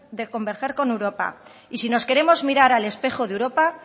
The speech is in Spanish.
de converger con europa y si nos queremos mirar al espejo de europa